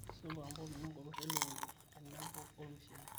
supa mpotunye nkopir e lukunku tenebo olmushele